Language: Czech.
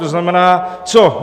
To znamená co?